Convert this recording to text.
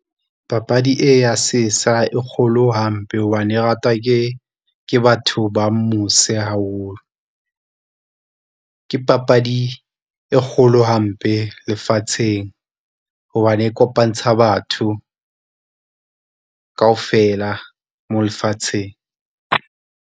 Papadi e ya sesa e kgolo hampe hobane e ratwa ke, ke batho ba mose haholo. Ke papadi e kgolo hampe lefatsheng hobane e kopantsha batho kaofela mo lefatsheng.